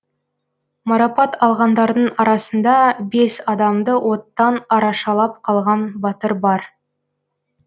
марапат алғандардың арасында бес адамды оттан арашалап қалған батыр бар